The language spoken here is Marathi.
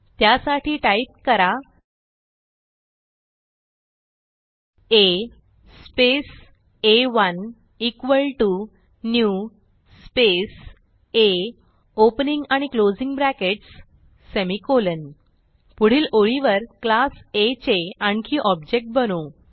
त्यासाठी टाईप करा आ स्पेस आ1 इक्वॉल टीओ न्यू स्पेस आ ओपनिंग आणि क्लोजिंग ब्रॅकेट्स सेमिकोलॉन पुढील ओळीवर क्लास आ चे आणखी ऑब्जेक्ट बनवू